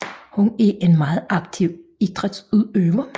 Hun er en meget aktiv idrætsudøver